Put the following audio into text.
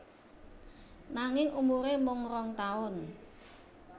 Nanging umuré mung rong taun